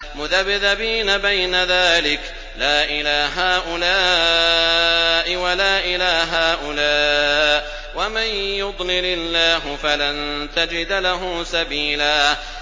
مُّذَبْذَبِينَ بَيْنَ ذَٰلِكَ لَا إِلَىٰ هَٰؤُلَاءِ وَلَا إِلَىٰ هَٰؤُلَاءِ ۚ وَمَن يُضْلِلِ اللَّهُ فَلَن تَجِدَ لَهُ سَبِيلًا